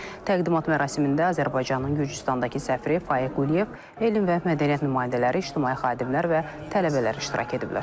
Təqdimat mərasimində Azərbaycanın Gürcüstandakı səfiri Faiq Quliyev, elm və mədəniyyət nümayəndələri, ictimai xadimlər və tələbələr iştirak ediblər.